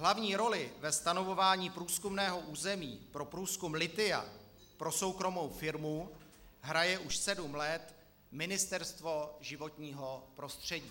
Hlavní roli ve stanovování průzkumného území pro průzkum lithia pro soukromou firmu hraje už sedm let Ministerstvo životního prostředí.